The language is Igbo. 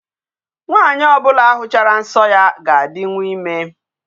Nwanyị ọbụla hụchara nsọ ya ga-adinwu ime.